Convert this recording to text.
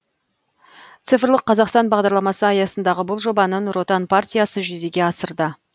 цифрлық қазақстан бағдарламасы аясындағы бұл жобаны нұр отан партиясы жүзеге асырды